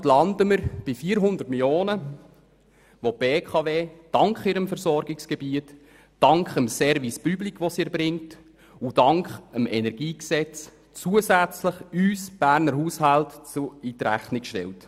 Also landen wir insgesamt bei 400 Mio. Franken, welche die BKW, dank ihrem Versorgungsgebiet, dank dem von ihr erbrachten Service Public und dank dem Energiegesetz uns, den Berner Haushalten, zusätzlich in Rechnung stellt.